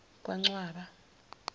kancwaba